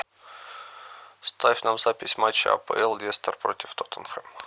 ставь нам запись матча апл лестер против тоттенхэм